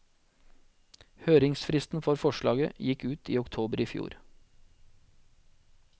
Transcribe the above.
Høringsfristen for forslaget gikk ut i oktober i fjor.